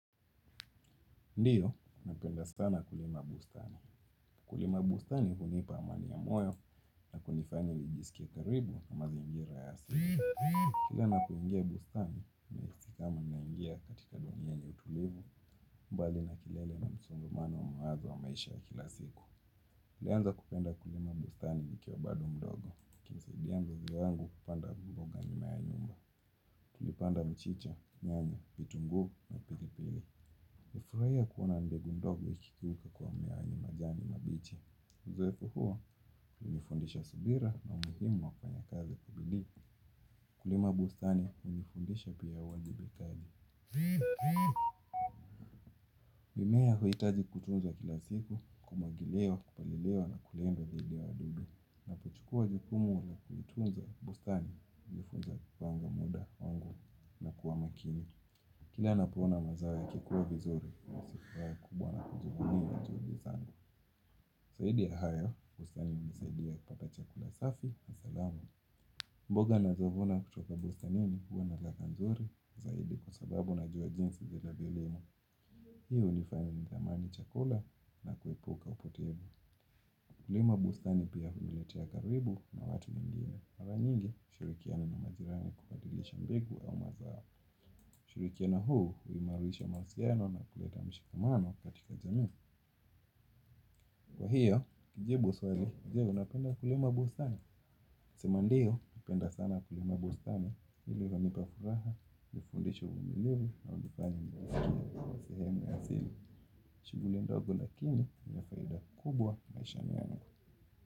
Ndiyo, napenda sana kulima bustani. Kulima bustani hunipa amani ya moyo na kunifanya nijisikie karibu na mazingira ya siku. Kila napoingia bustani, nahisi kama naingia katika dunia yenye utulivu, mbali na kelele na msongamano wa mawazo wa maisha ya kila siku. Nilianza kupenda kulima bustani nikiwa bado mdogo. Nikimsaidia mzazi wangu kupanda mboga nyuma ya nyumba. Tulipanda mchicha, nyanya, vitunguu na pilipili. Nifurahia kuona mbegu ndogo ikigeuka kuwa meaani majani mabichi. Zoefu huwa, hunifundisha subira na umuhimu wa kufanya kazi kwa bidii. Kulima bustani hunifundisha pia uwajibikaji. Mimea huhitaji kutunzwa kila siku, kumwagiliwa, kupaliliwa na kulindwa dhidi ya wadudu. Napochukua jukumu na kuitunza bustani hunifunza kupanga muda wangu na kuwa makini. Kila ninapoona mazao yakikuwa vizuri kuvunia juhudi zangu zaidi ya hayo, bustani hunisaidia kupata chakula safi na salama. Mboga nazovuna kutoka bustanini huwa na ladha nzuri zaidi kwa sababu najua jinsi zinavyolimwa. Hiyo hunifanya nithamani chakula na kuepuka upotevu. Kulima bustani pia huniletea karibu na watu wengine. Mara nyingi, hushurikiana na majirani kubadilisha mbegu au mazao. Ushirikiano huu, huimarisha mawasiliano na kuleta mshikamano katika jamii. Kwa hiyo, kujibu swali, je, unapenda kulima bustani. Sema ndiyo, napenda sana kulima bustani. Hili hunipa furaha, hunifundisha umilivu, na hunifanya nijisikie kuwa sehemu ya asili. Shughuli ndogo lakini, ni ya faida kubwa maishani yangu.